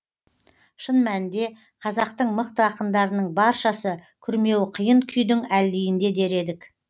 шын мәнінде қазақтың мықты ақындарының баршасы күрмеуі қиын күйдің әлдиінде дер едік